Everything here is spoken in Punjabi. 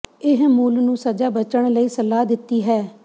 ਇਹ ਮੁੱਲ ਨੂੰ ਸਜ਼ਾ ਬਚਣ ਲਈ ਸਲਾਹ ਦਿੱਤੀ ਹੈ